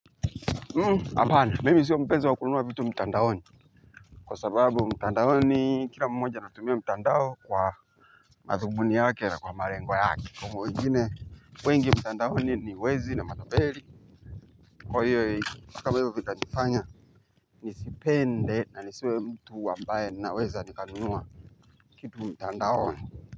Hapana, mimi sio mpenzi wa kununua vitu mtandaoni. Kwa sababu mtandaoni, kila mmoja anatumia mtandao kwa madhumuni yake na kwa malengo yake. Kwa wengine, wengi mtandaoni ni wezi na matabeli, kwa hiyo kama hivyo vitanifanya nisipende na niswe mtu ambaye naweza nikanunua kitu mtandaoni.